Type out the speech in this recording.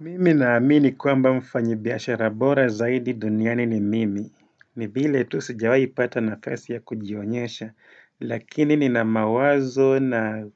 Mimi na amini kwamba mfanyi biashara bora zaidi duniani ni mimi ni vile tu sijawai pata nafasi ya kujionyesha lakini nina mawazo na